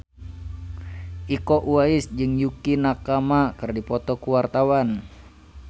Iko Uwais jeung Yukie Nakama keur dipoto ku wartawan